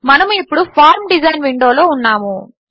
మనము ఇప్పుడు form design విండోలో ఉన్నాము